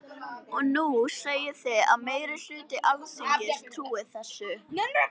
Og nú segið þið að meiri hluti Alþingis trúi þessu.